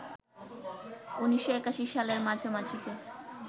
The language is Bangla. ১৯৮১ সালের মাঝামাঝিতে